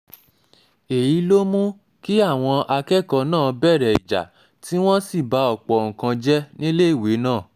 èyí ló mú kí àwọn akẹ́kọ̀ọ́ náà bẹ̀rẹ̀ ìjà tí wọ́n sì ba ọ̀pọ̀ nǹkan jẹ́ níléèwé náà